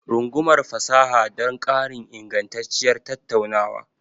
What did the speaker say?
Rungumar fasaha don ƙarin ingantacciyar tattaunawa.